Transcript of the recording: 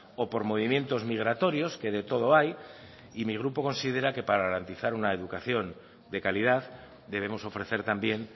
o por movimientos migratorios que de todo hay y mi grupo considera que para garantizar una educación de calidad debemos ofrecer también